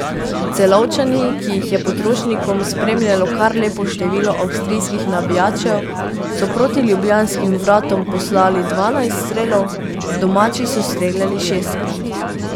Celovčani, ki jih je pod Rožnikom spremljalo kar lepo število avstrijskih navijačev, so proti ljubljanskim vratom poslali dvanajst strelov, domači so streljali šestkrat.